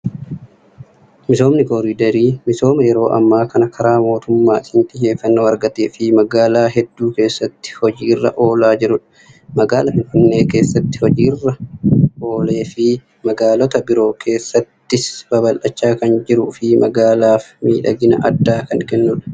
Misoomni Kooriidarii misooma yeroo ammaa kana karaa mootummaatiin xiyyeeffannoo argatee fi magaalaa hedduu keessatti hojiirra oolaa jirudha. Magaalaa Finfinnee keessatti hojiirra lan oolee fi magaalota biroo keessattis babal'achaa kan jiruu fi magaalaaf miidhagina addaa kan kennudha.